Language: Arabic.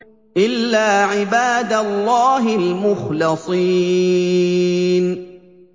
إِلَّا عِبَادَ اللَّهِ الْمُخْلَصِينَ